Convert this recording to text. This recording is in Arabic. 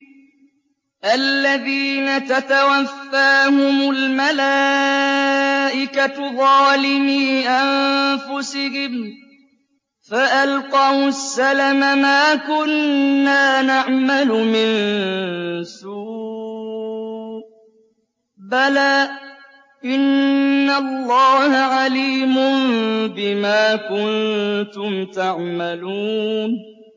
الَّذِينَ تَتَوَفَّاهُمُ الْمَلَائِكَةُ ظَالِمِي أَنفُسِهِمْ ۖ فَأَلْقَوُا السَّلَمَ مَا كُنَّا نَعْمَلُ مِن سُوءٍ ۚ بَلَىٰ إِنَّ اللَّهَ عَلِيمٌ بِمَا كُنتُمْ تَعْمَلُونَ